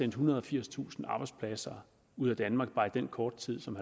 ethundrede og firstusind arbejdspladser ud af danmark bare i den korte tid som